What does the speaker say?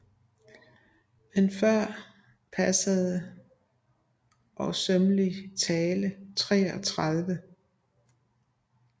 Men før passende og sømmelig tale 33